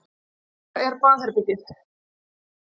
Hvar er baðherbergið?